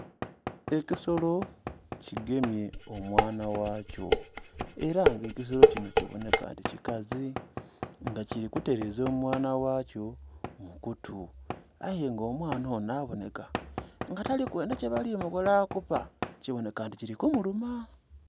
Ekisolo kigemye omwana ghakyo. Ela nga ekisolo kino kibonheka nti kikazi, nga kili kuteleeza omwana ghakyo mu kutu. Aye nga omwana onho abonheka nga tali kwendha kyebali mukola kuba kibonheka nti kili kumuluma.